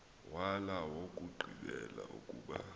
wala owokugqibela ukuba